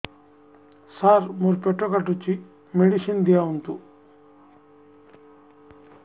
ସାର ମୋର ପେଟ କାଟୁଚି ମେଡିସିନ ଦିଆଉନ୍ତୁ